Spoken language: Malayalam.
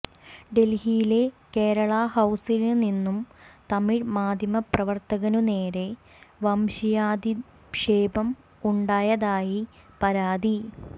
ഡല്ഹിയിലെ കേരള ഹൌസില് നിന്നും തമിഴ്മാധ്യമപ്രവര്ത്തകനു നേരെ വംശീയാധിക്ഷേപം ഉണ്ടായതായി പരാതി